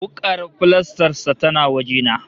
Wuƙar filastar sa tana waje na